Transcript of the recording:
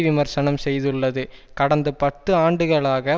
விமர்சனம் செய்துள்ளது கடந்த பத்து ஆண்டுகளாக